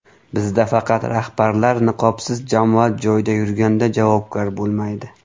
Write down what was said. Bizda faqat rahbarlar niqobsiz jamoat joyida yurganda javobgar bo‘lmaydi.